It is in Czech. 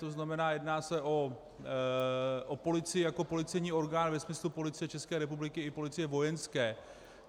To znamená, jedná se o policii jako policejní orgán ve smyslu Policie České republiky i policie Vojenské.